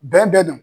Bɛɛ bɛ na